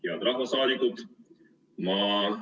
Head rahvasaadikud!